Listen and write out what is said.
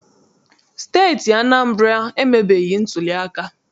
Steeti Anambra emebeghị ntuliaka.